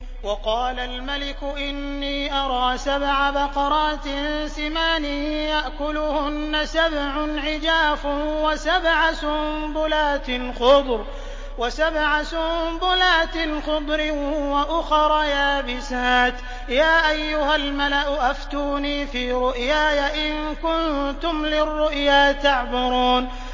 وَقَالَ الْمَلِكُ إِنِّي أَرَىٰ سَبْعَ بَقَرَاتٍ سِمَانٍ يَأْكُلُهُنَّ سَبْعٌ عِجَافٌ وَسَبْعَ سُنبُلَاتٍ خُضْرٍ وَأُخَرَ يَابِسَاتٍ ۖ يَا أَيُّهَا الْمَلَأُ أَفْتُونِي فِي رُؤْيَايَ إِن كُنتُمْ لِلرُّؤْيَا تَعْبُرُونَ